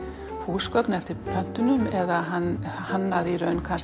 húsgögn eftir pöntunum eða hannaði